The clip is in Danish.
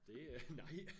Det øh nej